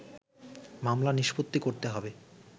মামলা নিষ্পত্তি করতে হবে